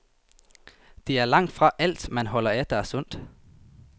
Det er langtfra alt, man holder af, der er sundt.